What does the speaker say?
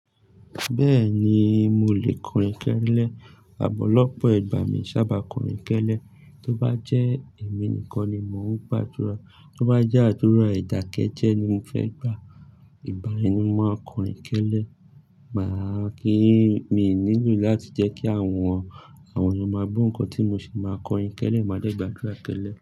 Bẹ́ẹ̀ni, mo lè kọrin kẹ́lẹ́. Àmọ̀ lọ́pọ̀ igba mi sábà kọrin kẹ́lẹ́. Tí ó bá jẹ́ èmi nìkan ni mò ń gbà ádúrà, tí ó bá jẹ́ àdúrà ìtàkẹ́jẹ́ ni mo fẹ́ gbà, ìgbá yẹni máa kọrin kẹ́lẹ́. Màá kí ì mi nílò láti jẹ́ kí àwọn, àwọn ọmọ magbo ńkan tí mo sì máa kọrin kẹ́lẹ́, màá dẹ́ gbà ádúrà kẹ́lẹ́.